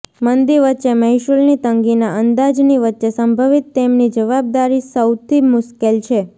મંદી વચ્ચે મહેસૂલની તંગીના અંદાજની વચ્ચે સંભવિત તેમની જવાબદારી સૌથી મુશ્કેલ છે